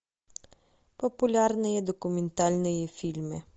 популярные документальные фильмы